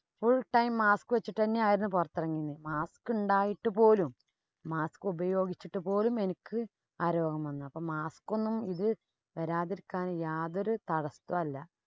full time mask വച്ചിട്ട് തന്നെ ആയിനു പുറത്തിറങ്ങിയേന്. mask ഉണ്ടായിട്ട് പോലും, mask ഉപയോഗിച്ചിട്ട് പോലും എനിക്ക് ആ രോഗം വന്നു. അപ്പം mask ഒന്നും ഇത് വരാതിരിക്കാന്‍ യാതൊരു തടസ്സം അല്ല.